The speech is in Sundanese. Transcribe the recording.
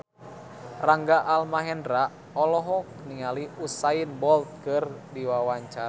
Rangga Almahendra olohok ningali Usain Bolt keur diwawancara